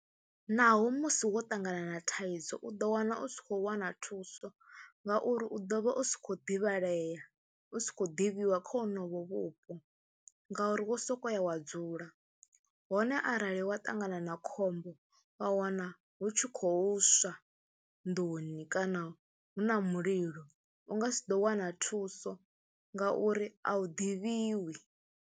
Naho musi wo ṱangana na thaidzo u ḓo wana u si khou wana thuso ngauri u ḓo vha u si khou ḓivhalea, u si khou ḓivhiwa kha honovho vhupo ngauri wo sokou ya wa dzula. Hone arali wa ṱangana na khombo, wa wana hu tshi khou swa nduni kana hu na mulilo u nga si ḓo wana thuso ngauri a u ḓivhiwi.